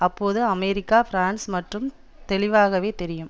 அப்போது America France மற்றும் தெளிவாகவே தெரியும்